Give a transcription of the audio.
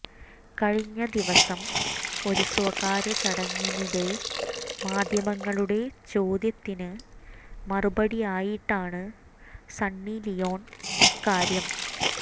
കഴിഞ്ഞ ദിവസം ഒരു സ്വകാര്യചടങ്ങിനിടെ മാധ്യമങ്ങളുടെ ചോദ്യത്തിന് മറുപടിയായിട്ടാണ് സണ്ണി ലിയോൺ ഇക്കാര്യം